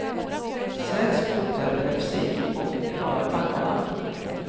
Sägs bota epilepsi och klara tankarna.